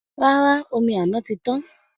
Rárá, omi àná ti tán